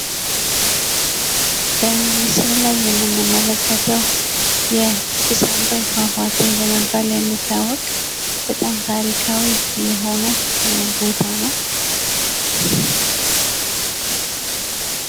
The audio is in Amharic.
በምስሉ ላይ የምንመለከተው የጭስ አባይ ፏፏቴ በመባል የሚታወቅ በጣም ታሪካዊ የሆነ ቦታ ነው።